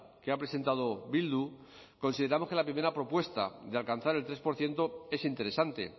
que ha presentado bildu consideramos que la primera propuesta de alcanzar el tres por ciento es interesante